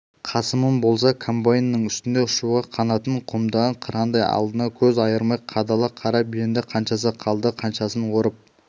қасымым болса комбайнның үстінде ұшуға қанатын қомдаған қырандай алдына көз айырмай қадала қарап енді қаншасы қалды қаншасын орып